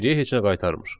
Geriyə heç nə qaytarmır.